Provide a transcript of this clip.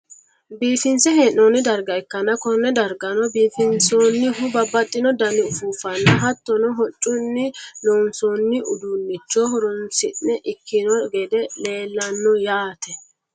biifinse hee'noonni darga ikkanna, konne dargano biifinsoonnihu babbaxino dani ufuuffanna hattono hoccunni loonsoonni uduunnicho horonsi'ne ikkino gede leelanno yaate .